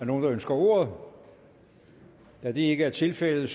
nogen der ønsker ordet da det ikke er tilfældet